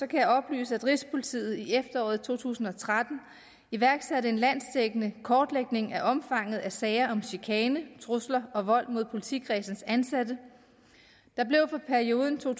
kan jeg oplyse at rigspolitiet i efteråret to tusind og tretten iværksatte en landsdækkende kortlægning af omfanget af sager om chikane trusler og vold mod politikredsenes ansatte der blev for perioden to